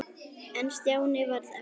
En Stjáni varð eftir.